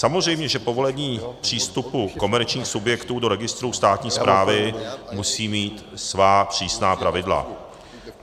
Samozřejmě že povolení přístupu komerčních subjektů do registru státní správy musí mít svá přísná pravidla.